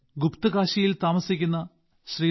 ഗുപ്ത്കാശിയിൽ താമസിക്കുന്ന ശ്രീ